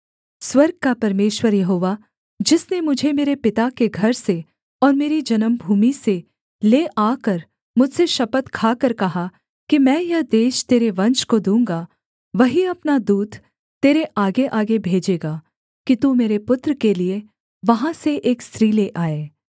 स्वर्ग का परमेश्वर यहोवा जिसने मुझे मेरे पिता के घर से और मेरी जन्मभूमि से ले आकर मुझसे शपथ खाकर कहा कि मैं यह देश तेरे वंश को दूँगा वही अपना दूत तेरे आगेआगे भेजेगा कि तू मेरे पुत्र के लिये वहाँ से एक स्त्री ले आए